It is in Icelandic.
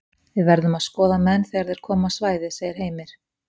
Við verðum að skoða menn þegar þeir koma á svæðið segir Heimir.